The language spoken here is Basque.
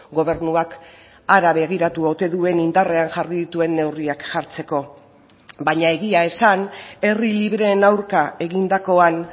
gobernuak hara begiratu ote duen indarrean jarri dituen neurriak jartzeko baina egia esan herri libreen aurka egindakoan